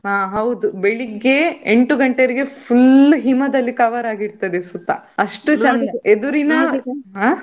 ಹಾ ಹೌದು ಬೆಳಿಗ್ಗೆ ಎಂಟು ಗಂಟೆ ವರೆಗೆ full ಹಿಮದಲ್ಲಿ cover ಆಗಿ ಇರ್ತದೆ ಸುತ್ತ ಅಷ್ಟು ಚಂದ. ಎದುರಿನ ಆ.